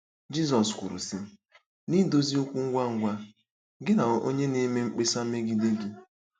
Jizọs kwuru, sị: “ Na-edozi okwu ngwa ngwa gị na onye na-eme mkpesa megide gị.”